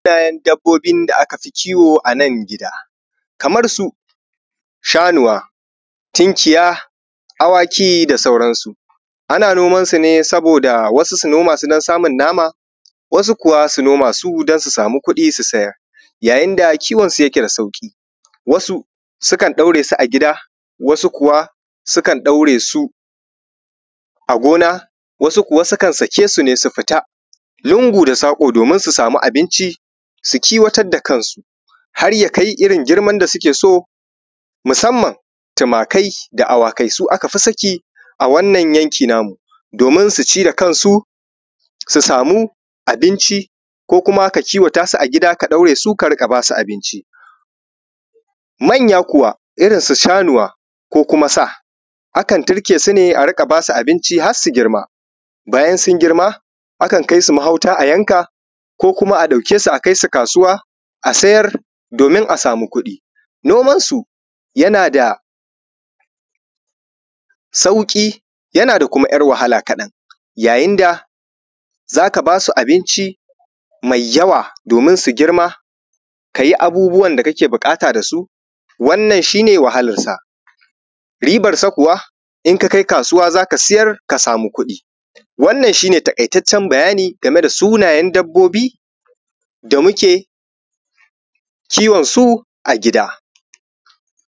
kalan dabbobin da akafi kiwo ana gida kamar su shanuwa, tunkiya, awaki da sauransu ana niomansu ne saboda wasu su noma su don samun nama, wasu kuwa su noma su don su samu kuɗi su sayar, yayin da kiwonsu yake da sauƙi, wasu sukan ɗauresu a gida, wasu kuwa sukan ɗauresu a gona, wasu sukan sake su ne su fita lungu da saƙo domin su abinci su kiwatar da kansu har yakai irin girman da suke so musamman tumakai da awakai su aka fi saki a wannan yanki na mu domin su ci kansu su sami abinci ko kuma ka kiwata su a gida ka ɗaure su ka ika ba su abinci, manya kuwa irin su shanuwa ko kuma sa akan turke su ne a riƙa ba su abinci har su girma akan kai su mahauta a yanka ko kuma a ɗauke su a kai su kasuwa a sayar domin a samu kuɗi noma shi yana da sauƙi yana da kuma ‘yar wahala kaɗan yayin da za ka ba su abinci mai yawa domin su girma ka yi abubbuwan da kake buƙata da su wannan shi ne wahalarsa ribansu kuwa in ka kai kasuwa za ka siyar ka samu kuɗi wannan shi ne taƙaitaccen bayani game da sunayen dabbobi da muke kiwansu a gida.